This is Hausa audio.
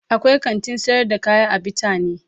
akwai kantin sayar da kaya a bitane.